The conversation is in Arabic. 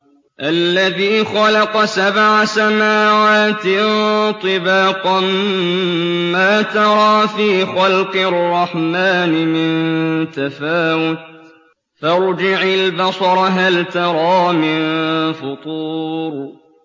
الَّذِي خَلَقَ سَبْعَ سَمَاوَاتٍ طِبَاقًا ۖ مَّا تَرَىٰ فِي خَلْقِ الرَّحْمَٰنِ مِن تَفَاوُتٍ ۖ فَارْجِعِ الْبَصَرَ هَلْ تَرَىٰ مِن فُطُورٍ